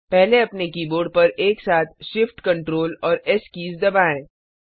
पहले अपने कीबोर्ड पर एक साथ Shift Ctrl और एस कीज दबाएं